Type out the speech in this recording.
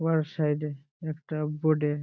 উহার সাইড -এ একটা বোর্ড -এ --